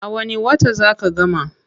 A wani wata zaa ka gama?